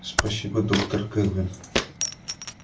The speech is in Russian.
спасибо доктор кэлвин